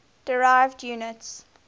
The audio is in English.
derived units